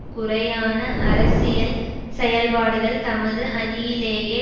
குறையான அரசியல் செயல்பாடுகள் தமது அணியிலேயே